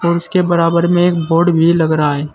और उसके बराबर में एक बोर्ड भी लग रहा है।